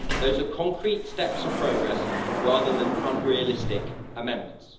Those are concrete steps of progress rather than unrealistic amendments.